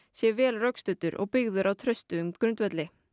sé vel rökstuddur og byggður á traustum grundvelli